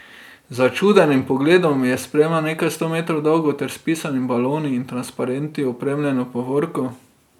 Z začudenim pogledom je spremljal nekaj sto metrov dolgo ter s pisanimi baloni in transparenti opremljeno povorko.